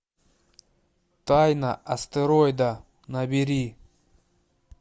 тайна астероида набери